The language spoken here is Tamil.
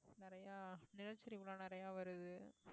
நிறைய நிலச்சரிவு எல்லாம் நிறைய வருது